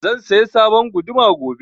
Zan saya sabon guduma gobe